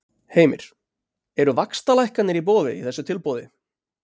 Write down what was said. Heimir: Eru vaxtalækkanir í boði í þessu tilboði?